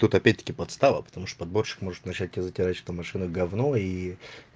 тут опять таки подстава потому что подборщик может начать и затирать что машину гавно и